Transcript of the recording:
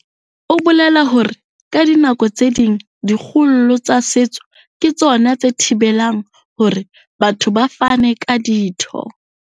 O bolela hore ka dinako tse ding dikgollo tsa setso ke tsona tse thibe lang hore batho ba fane ka ditho.